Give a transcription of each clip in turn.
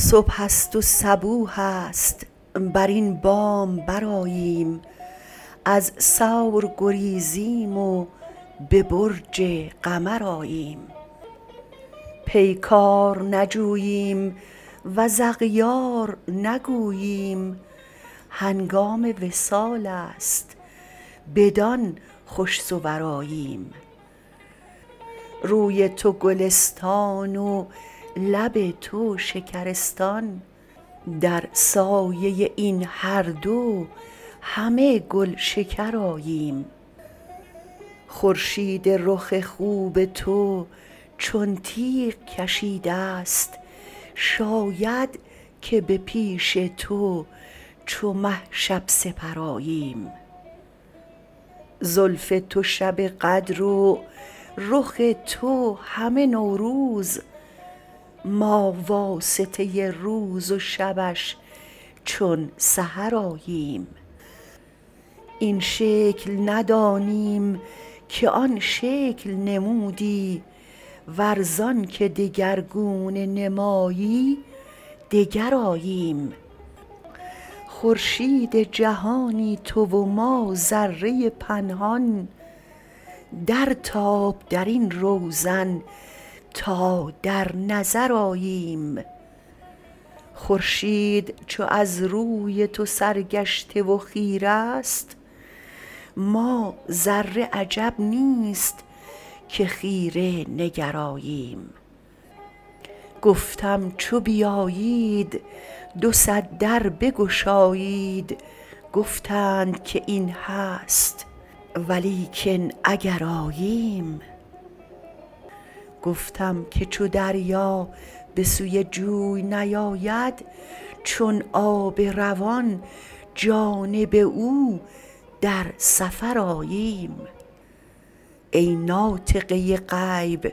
صبح است و صبوح است بر این بام برآییم از ثور گریزیم و به برج قمر آییم پیکار نجوییم و ز اغیار نگوییم هنگام وصال است بدان خوش صور آییم روی تو گلستان و لب تو شکرستان در سایه این هر دو همه گلشکر آییم خورشید رخ خوب تو چون تیغ کشیده ست شاید که به پیش تو چو مه شب سپر آییم زلف تو شب قدر و رخ تو همه نوروز ما واسطه روز و شبش چون سحر آییم این شکل ندانیم که آن شکل نمودی ور زانک دگرگونه نمایی دگر آییم خورشید جهانی تو و ما ذره پنهان درتاب در این روزن تا در نظر آییم خورشید چو از روی تو سرگشته و خیره ست ما ذره عجب نیست که خیره نگر آییم گفتم چو بیایید دو صد در بگشایید گفتند که این هست ولیکن اگر آییم گفتم که چو دریا به سوی جوی نیاید چون آب روان جانب او در سفر آییم ای ناطقه غیب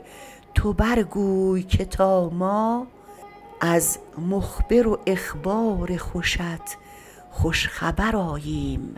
تو برگوی که تا ما از مخبر و اخبار خوشت خوش خبر آییم